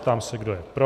Ptám se, kdo je pro.